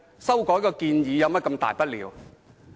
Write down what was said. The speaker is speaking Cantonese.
修改一項建議有甚麼大不了？